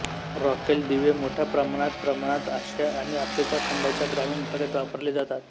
रॉकेल दिवे मोठ्या प्रमाणात प्रमाणात आशिया आणि आफ्रिका खंडांच्या ग्रामीण भागात वापरले जातात